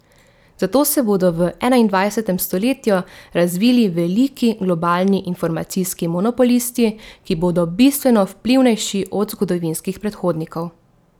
Zato se bodo v enaindvajsetem stoletju razvili veliki globalni informacijski monopolisti, ki bodo bistveno vplivnejši od zgodovinskih predhodnikov.